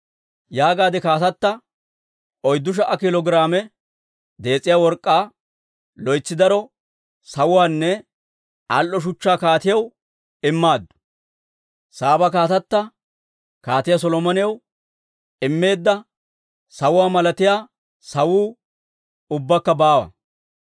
Yaagaade kaatata 4,000 kiilo giraame dees'iyaa work'k'aa, loytsi daro sawuwaanne al"o shuchchaa kaatiyaw immaaddu; Saaba kaatata Kaatiyaa Solomonaw immeedda sawuwaa malatiyaa sawuu ubbakka baawa.